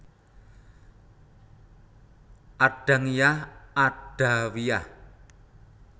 Adangiyah adawiyah